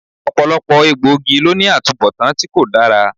Ọ̀pọ̀lọpọ̀ egbòogi ló ní atubọtan tí kò dára